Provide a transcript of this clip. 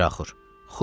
Miraxur: “Xub.